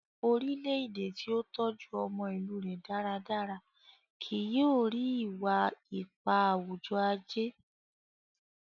orilẹ-ede ti o tọjú ọmọ ilù rẹ dáradára kìí yóò ri, iwa-ipa awujọ-aje